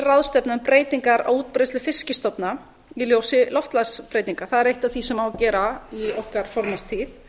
um breytingar á útbreiðslu fiskstofna í ljósi loftslagsbreytinga það er eitt af því sem á að gera í okkar formannstíð